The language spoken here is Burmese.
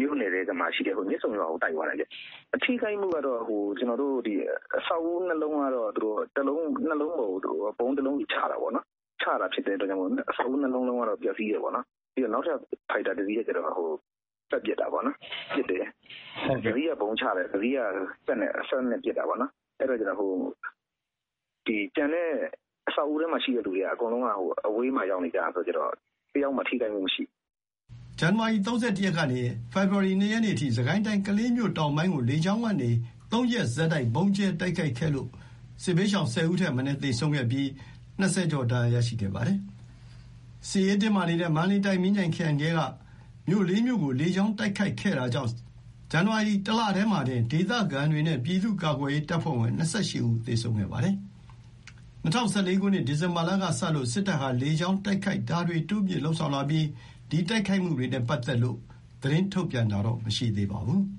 မြို့နယ်ထဲမှာရှိတဲ့ မြစ်ဆုံရွာကို တိုက်သွားတာ။ အထိခိုက်ကတော့ အဆောက်အဦး ၂ လုံးကတော့ ၂ လုံးပေါ်ကို ဗုံး ၁ လုံးဆီ ချတာပေါ့နော်။ ချတာဖြစ်လို့ အဆောက်အဦး ၂ လုံးလုံးကတော့ ပျက်စီးတယ်ပေါ့နော်။ နောက်ထပ် ဖိုက်တာ ၁ စီးကတော့ ပတ်ပစ်တာပေါ့နော်။ ၁ စီးက ဗုံးချတယ်။ ၁ စီးက စက်သေနတ်နဲ့ ပစ်တာပေါ့နော်။ အဆောက်အဦးထဲမှာရှိတဲ့သူတွေက အကုန်လုံး အဝေးမှာ ရောက်နေတာဆိုတော့ တယောက်မှ ထိခိုက်မှုမရှိဘူး။" ဇန်နဝါရီ ၃၁ ရက်ကနေ ၂ ရက်နေ့အထိ စစ်ကိုင်းတိုင်း ကလေးမြို့တောင်ပိုင်းကို လေကြောင်းကနေ ၃ ရက်ဆက်တိုက် ဗုံးကြဲတိုက်ခိုက်ခဲ့လို့ စစ်ဘေးရှောင် ၁၀ ဦးထက်မနည်း သေဆုံးပြီး ၂၀ ကျော် ဒဏ်ရာရရှိခဲ့ပါတယ်။ စစ်ရေးတင်းမာနေတဲ့ မန္တလေးတိုင်း မြင်းခြံခရိုင်ထဲက မြို့ ၄ မြို့ကို လေကြောင်းတိုက်ခိုက်ခဲ့တာကြောင့် ဇန်နဝါရီလ ၁ လတည်းမှာတင် ဒေသခံတွေနဲ့ ပြည်သူ့ကာကွယ်ရေးတပ်ဖွဲ့ဝင် ၂၈ ဦး သေဆုံးခဲ့ပါတယ်။ ၂၀၁၄ ခုနှစ် ဒီဇင်ဘာလကစလို့ စစ်တပ်ဟာ လေကြောင်းတိုက်ခိုက်တာတွေ တိုးမြှင့်လုပ်ဆောင်လာပြီး ဒီတိုက်ခိုက်မှုတွေနဲ့ ပတ်သက်လို့ သတင်းထုတ်ပြန်တာတော့ မရှိသေးပါဘူး။